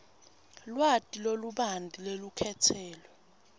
lwati lolubanti lwelukhetselo